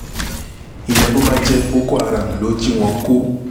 ìyẹn bó bá jẹ́ boko haram ló jí wọn kó